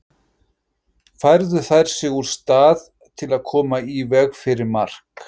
Færðu þær sig úr stað til að koma í veg fyrir mark?